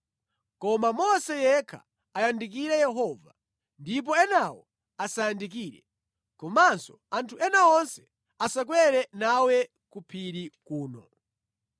Koma Mose yekha ayandikire Yehova, ndipo enawo asayandikire. Komanso anthu ena onse asakwere nawe ku phiri kuno.”